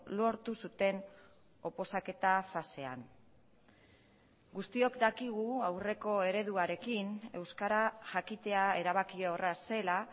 lortu zuten oposaketa fasean guztiok dakigu aurreko ereduarekin euskara jakitea erabakiorra zela